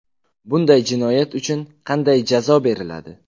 Bunday jinoyat uchun qanday jazo beriladi?